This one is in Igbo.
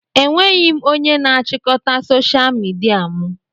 Enweghị m onye na-achịkọta soshal midia mụ